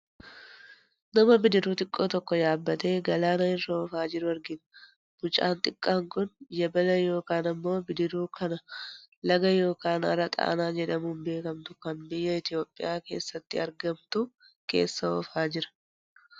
Nama bidiruu xiqqoo tokko yaabbatee galaana irra oofaa jiru argina. Mucaan xiqqaan kun yabala yookaan ammoo bidiruu kana laga yookaan hara xaanaa jedhamuun beekkamtu kan biyya Itoophiyaa keessatti argamtu keessa oofaa jira.